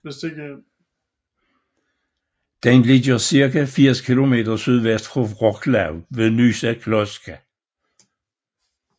Den ligger cirka 80 kilometer sydvest for Wrocław ved Nysa Kłodzka